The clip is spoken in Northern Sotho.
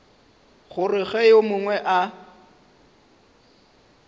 gore ge yo mongwe a